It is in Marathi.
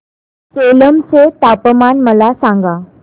सेलम चे तापमान मला सांगा